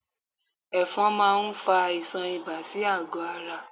Ẹ̀fọn máa ń fa àìsàn ibà sí àgọ́ ara